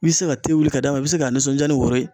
I bi se ka wuli ka d'a ma, i bi se ka nisɔndiya ni woro ye.